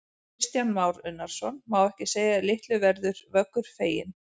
Kristján Már Unnarsson: Má ekki segja að litlu verður Vöggur feginn?